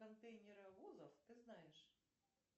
контейнеровозов ты знаешь